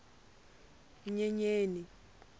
nyenyeni